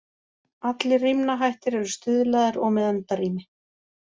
Allir rímnahættir eru stuðlaðir og með endarími.